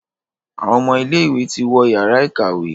Àwon ọmọ ilé ìwé ti wọ Yàrá ìkàwé.